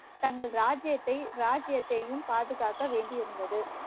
தங்கள் ராஜ்ஜியத்தை ராஜ்யத்தையும் பாதுகாக்க வேண்டி இருந்தது